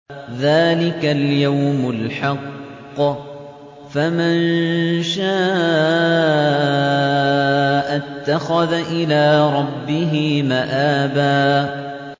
ذَٰلِكَ الْيَوْمُ الْحَقُّ ۖ فَمَن شَاءَ اتَّخَذَ إِلَىٰ رَبِّهِ مَآبًا